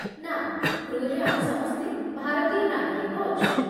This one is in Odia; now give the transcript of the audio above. ନା, କ୍ରୁରେ ଆମେ ସମସ୍ତେ ଭାରତୀୟ ନାଗରିକ ଅଛୁ।